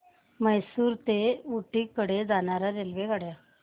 म्हैसूर ते ऊटी कडे जाणार्या रेल्वेगाड्या